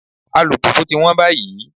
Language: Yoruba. Alùpùpù ti wọ́n báyìí.